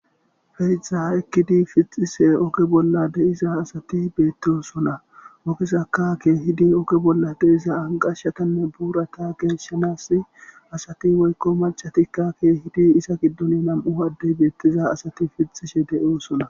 Feexa oykkidi oge pithishe de7iza asati beettosona ogezakka keehidi oge bolla de7ida anqqashatanne buurata geeshanaassi asati woykko maccatika keehidi iza giddoni nam77u addey beettiza asati pithishe beettosona.